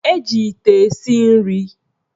Eji ite esi nri